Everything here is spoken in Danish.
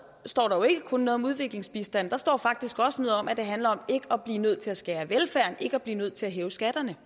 står der jo ikke kun noget om udviklingsbistand der står faktisk også noget om at det handler om ikke at blive nødt til at skære i velfærden ikke at blive nødt til at hæve skatterne